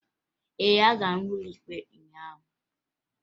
Ee, agara m ụlọ ikpe ụnyaahụ